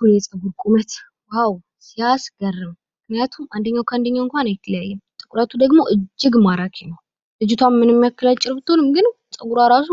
ውይ የጸጉር ቁመት ዋው! ሲያስገርም ምክንያቱም አንደኛው ከአንደኛው እንኳን አይለያይም። ጥቁረቱ ደግሞ እጅግ ማራኪ ነው። ልጅቷ ምንም ያክል አጭር ብትሆን ግን ጸጉሯ ራሱ